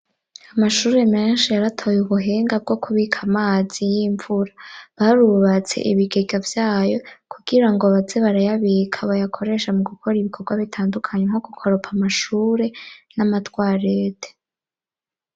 Amashuri menshi yaratoye ubuhinga bwo kubika amazi y'imvura. Barubatse ibigega vyayo kugira ngo baze barayabika, bakayakoresha mu gukora ibikorwa bitandukanye, nko gukoropa amashure n'amatwarete.